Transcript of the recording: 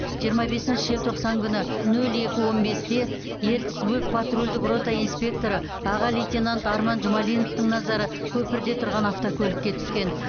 жиырма бесінші желтоқсан күні нөл екі он бесте ертіс бөп патрульдік рота инспекторы аға лейтенант арман жұмалиновтың назары көпірде тұрған автокөлікке түскен